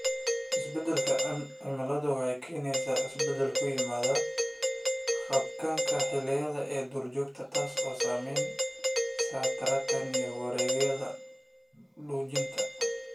Isbeddelka cimiladu waxay keenaysaa isbeddel ku yimaada habdhaqanka xilliyeed ee duurjoogta, taasoo saamaysa taranka iyo wareegyada quudinta.